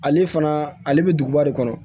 Ale fana ale bɛ duguba de kɔnɔ